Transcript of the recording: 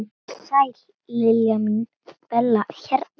Sæl Lilla mín, Bella hérna.